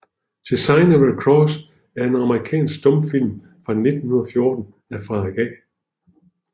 The Sign of the Cross er en amerikansk stumfilm fra 1914 af Frederick A